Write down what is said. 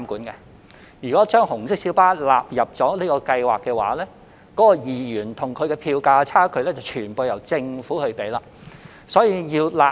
如果把紅色小巴納入優惠計劃，其票價與2元票價的差距便需由政府全數承擔。